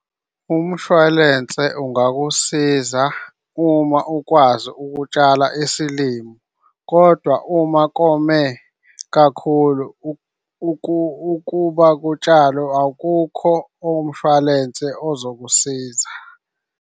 Umshwalense ungakusiza uma ukwazi ukutshala isilimo, kodwa uma kome kakhulu ukuba kutshalwe, awukho umshwalense ozokusiza.